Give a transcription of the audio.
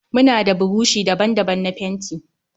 Muna da burushi daban-daban na fenti.